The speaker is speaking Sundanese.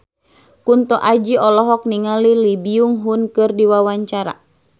Kunto Aji olohok ningali Lee Byung Hun keur diwawancara